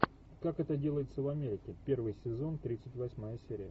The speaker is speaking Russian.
как это делается в америке первый сезон тридцать восьмая серия